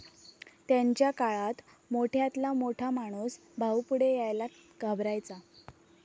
त्यांच्या काळात मोठ्यातला मोठा माणूस भाऊ पुढे यायला घाबरायचा